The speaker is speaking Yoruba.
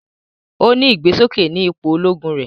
O ni igbesoke ní ipò Ológùn rẹ